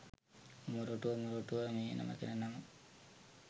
මොරටුව මොරටුව මේ නොමැකෙන නම